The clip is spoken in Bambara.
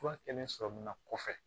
Fura kɛlen sɔrɔmuna kɔfɛ